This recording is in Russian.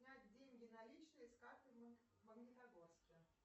снять деньги наличные с карты в магнитогорске